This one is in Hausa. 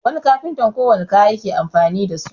wani kafinta kowanne kaya yake amfani da su